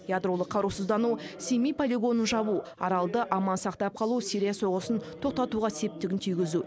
ядролық қарусыздану семей полигонын жабу аралды аман сақтап қалу сирия соғысын тоқтатуға септігін тигізу